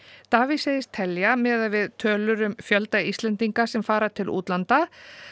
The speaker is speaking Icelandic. Davíð segist telja miðað við tölur um fjölda Íslendinga sem fara til útlanda